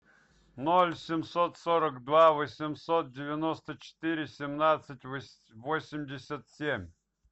ноль семьсот сорок два восемьсот девяносто четыре семнадцать восемьдесят семь